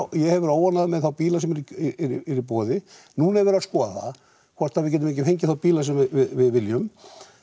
ég hef verið óánægður með þá bíla sem eru í boði núna er verið að skoða það hvort að við getum ekki fengið þá bíla sem við viljum